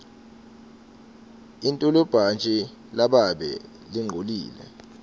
intolibhantji lababe lingcolile